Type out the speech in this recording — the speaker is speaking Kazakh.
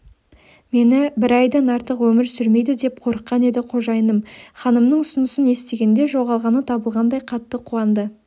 мені бір айдан артық өмір сүрмейді деп қорыққан еді қожайыным ханымның ұсынысын естігенде жоғалғаны табылғандай қатты қуанды